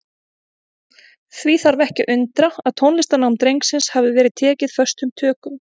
Því þarf ekki að undra að tónlistarnám drengsins hafi verið tekið föstum tökum.